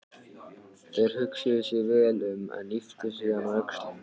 Þeir hugsuðu sig vel um en ypptu síðan öxlum.